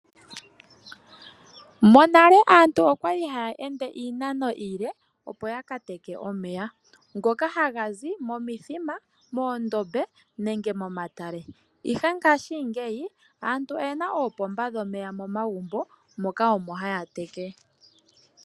Monale aantu okwali haya ende iinano iile opo ya ka teke omeya ngoka haga zi momithima, mondoombe nenge momatale. Ihe ngaashingeyi aantu oyena oopomba dhomeya momagumbo moka omo haya teke.